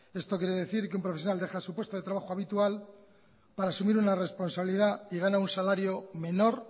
esto quiere decir que un profesional deja su puesto de trabajo habitual para asumir una responsabilidad y gana un salario menor